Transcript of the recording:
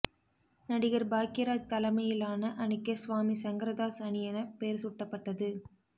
நடிகர் பாக்யராஜ் தலைமையிலான அணிக்கு சுவாமி சங்கரதாஸ் அணி என பெயர் சூட்டப்பட்டது